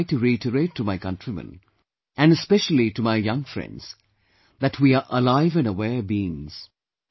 I would like to reiterate to my countrymen, and specially to my young friends that we are alive & aware beings